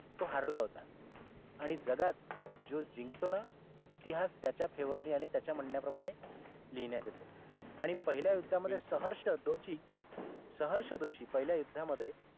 तो हारला होता आणि जगात जो जिंकतो ना इतिहास त्याच्या favor ने आणि त्याच्या म्हण्या प्रमाणे लिहिण्यात येतो आणि पहिल्या युद्धामध्ये सहर्ष दोषी सहर्ष दोषी पहिल्या युद्धामध्ये